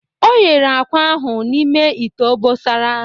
O yere akwa ahụ n'ime ite obosara